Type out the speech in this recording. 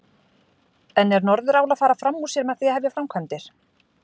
En er Norðurál að fara fram úr sér með því að hefja framkvæmdir?